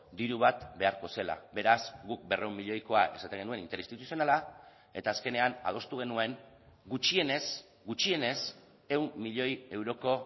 diru bat beharko zela beraz guk berrehun milioikoa esaten genuen interinstituzionala eta azkenean adostu genuen gutxienez gutxienez ehun milioi euroko